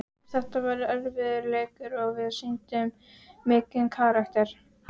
Þetta var erfiður leikur og við sýndum mikinn karakter.